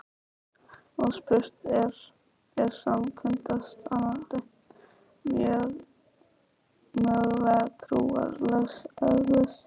Og spurt er: er samkunda starrana mögulega trúarlegs eðlis?